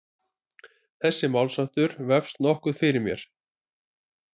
Þessi málsháttur vefst nokkuð fyrir mér.